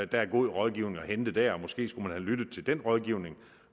der er god rådgivning at hente der og måske skulle man have lyttet til den rådgivning